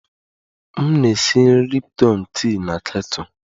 M na-esi nri Lipton tii na kettle